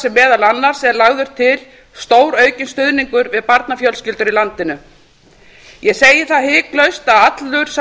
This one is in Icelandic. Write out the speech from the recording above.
segi meðal annars er lagður til stóraukinn stuðningur við barnafjölskyldur í landi ég segi það hiklaust að allur sá